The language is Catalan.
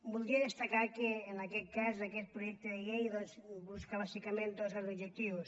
voldria destacar que en aquest cas aquest projecte de llei doncs busca bàsicament dos grans objectius